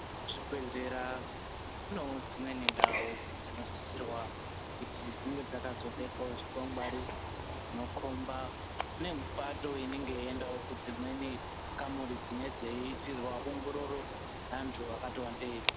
Muzvibhedhlera munevo dzimweni ndau dzinosisirwa kuzi dzinge dzakazobekwavo zvikwangwari. Zvinokomba kune mipato inenge yeiendavo kudzimweni kamuri dzine dzeiitirwa ongororo dzeantu akati wandei.